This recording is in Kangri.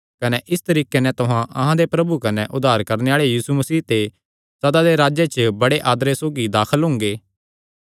कने इस तरीके नैं तुहां अहां दे प्रभु कने उद्धार करणे आल़े यीशु मसीह दे सदा दे राज्जे च बड़े आदरे सौगी दाखल हुंगे